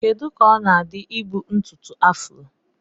Kedu ka ọ na-adị ka ibu ntutu afro?